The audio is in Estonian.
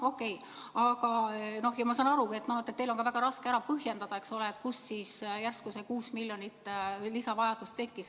Okei, ma saan aru, et teil on väga raske põhjendada, kust siis järsku 6-miljonilise lisa järele vajadus tekkis.